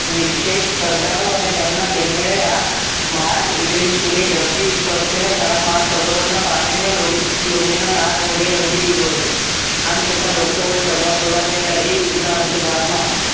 નિશ્ચય સરદારો અને તેમના સેન્યએ આ માર્ટ એટેનશયુ ની ધરતી તેના ચાર મહાસાગરોના પાણીને લોહી લોહીના લાલ રંગે રંગી ડીડજો હતો આમ છતાં બસો વર્ષ પુરા થયેલા એ યુગના અંત ભાગમાં